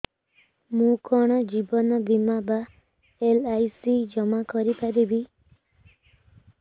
ମୁ କଣ ଜୀବନ ବୀମା ବା ଏଲ୍.ଆଇ.ସି ଜମା କରି ପାରିବି